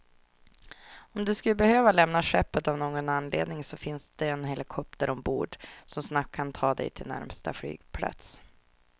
Och skulle du behöva lämna skeppet av någon anledning så finns där en helikopter ombord, som snabbt kan ta dig till närmsta flygplats.